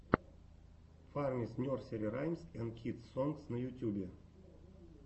фармис нерсери раймс энд кидс сонгс на ютьюбе